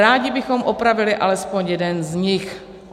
Rádi bychom opravili alespoň jeden z nich.